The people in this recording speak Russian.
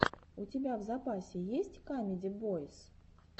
у тебя в запасе есть камеди бойз